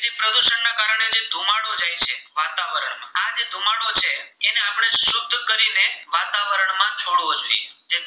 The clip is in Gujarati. જે